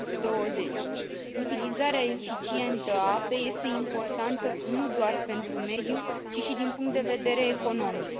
20. Utilizarea eficientă a apei este importantă nu doar pentru mediu, ci și din punct de vedere economic.